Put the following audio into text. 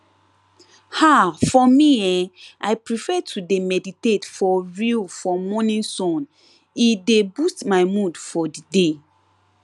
ah for me[um]i prefer to dey meditate for real for morning sun e dey boost my mood for the day